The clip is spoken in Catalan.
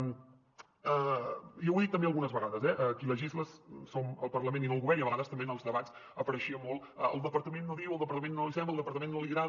jo ho he dit també algunes vegades eh qui legisla som el parlament i no el govern i a vegades també en els debats apareixia molt el departament no diu al departament no li sembla al departament no li agrada